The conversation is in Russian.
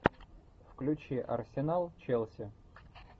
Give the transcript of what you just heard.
включи арсенал челси